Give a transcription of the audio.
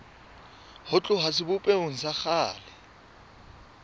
ho tloha sebopehong sa kgale